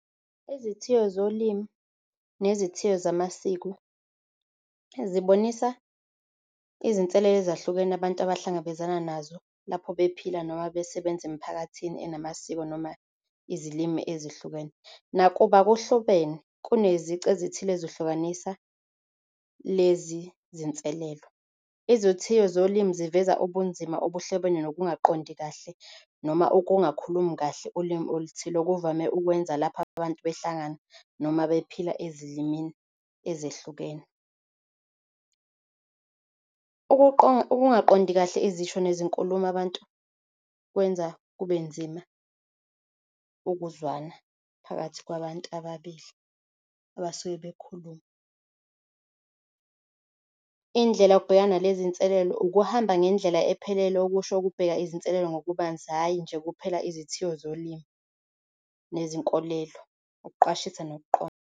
Izithiyo zolimi nezithiyo zamasiko zibonisa izinselelo ezahlukene abantu abahlangabezana nazo lapho bephila noma besebenza emiphakathini enamasiko noma izilimi ezihlukene. Nakuba kuhlobene, kunezici ezithile ezihlukanisa lezizinselelo, izithiyo zolimi eziveza ubunzima obuhlobene nokungaqondi kahle. Noma ukungakhulumi kahle ulimi oluthile okuvame ukwenza lapha abantu behlangana noma bephila ezilimi ezehlukene. Ukungaqondi kahle izisho nezinkulumo abantu kwenza kubenzima ukuzwana phakathi kwabantu ababili abasuke bekhuluma. Indlela okubhekana nalezinselelo ukuhamba ngendlela ephelele okusho ukubheka izinselelo ngobubanzi hhayi nje kuphela izithiyo zolimo nezinkolelo, ukuqwashisa nokuqonda.